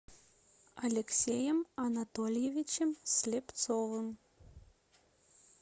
алексеем анатольевичем слепцовым